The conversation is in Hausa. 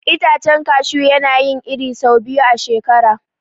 Itacen kashu yana yin iri sau biyu a shekara.